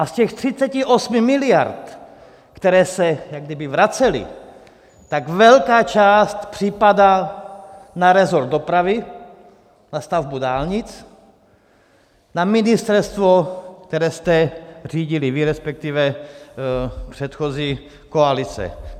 A z těch 38 miliard, které se jak kdyby vracely, tak velká část připadá na resort dopravy, na stavbu dálnic, na ministerstvo, které jste řídili vy, respektive předchozí koalice.